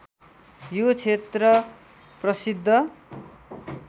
यो क्षेत्र प्रसिद्ध